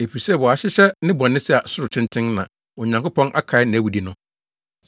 Efisɛ wɔahyehyɛ ne bɔne sɛ soro tenten, na Onyankopɔn akae nʼawudi no.